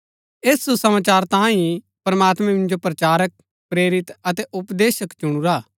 ऐस सुसमाचार तांये ही प्रमात्मैं मिन्जो प्रचारक प्रेरित अतै उपदेशक चुणुरा हा